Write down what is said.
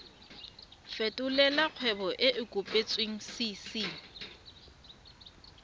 fetolela kgwebo e e kopetswengcc